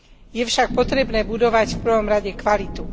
Je však potrebné budovať v prvom rade kvalitu.